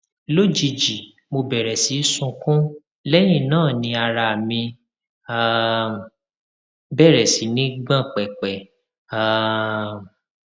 lójijì mo bẹrẹ sí sunkún lẹyìn náà ni ara mí um bẹrẹ sí ní gbọn pẹpẹ um